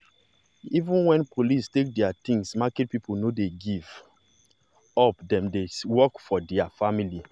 even when police take their things market people no dey give up dem still dey work for their family.